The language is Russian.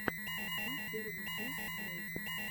поставь первую часть дрейка